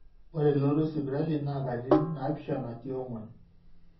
ore elotototo esipitali naa katitin naapishana tiong'wan